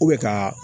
ka